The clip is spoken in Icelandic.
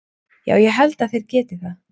Já ég held að þeir geti það.